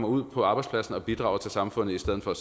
ud på arbejdspladserne og bidrager til samfundet i stedet for